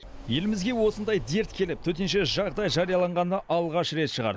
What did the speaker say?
елімізге осындай дерт келіп төтенше жағдай жарияланғаны алғаш рет шығар